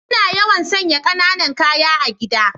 Ina yawan sanya kananan ƙaya a gida.